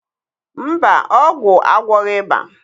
mba, ọgwụ agwọghị ịba.